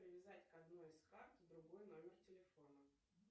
привязать к одной из карт другой номер телефона